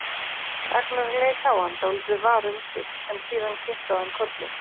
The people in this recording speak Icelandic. Ragnar leit á hann dálítið var um sig en síðan kinkaði hann kolli.